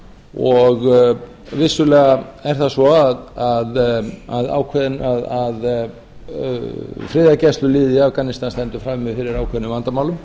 og vissulega er það svo að friðargæsluliðið í afganistan stendur frammi fyrir ákveðnum vandamálum